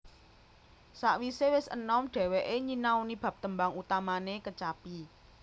Sawisé wis enom dhéwéké nyinaoni bab tembang utamane kecapi